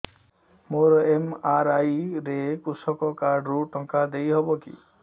ମୋର ଏମ.ଆର.ଆଇ ରେ କୃଷକ କାର୍ଡ ରୁ ଟଙ୍କା ଦେଇ ହବ କି